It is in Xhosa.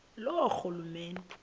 loorhulumente